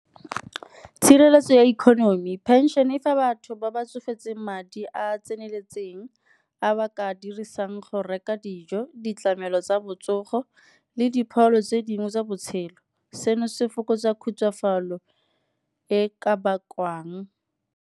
Tshireletso ya economy, pension e fa batho ba ba tsofetseng madi a a tseneletseng, a ba ka a dirisang go reka dijo, ditlamelo tsa botsogo le dipholo tse dingwe tsa botshelo. Seno se fokotsa khutsafalo e ka bakwang.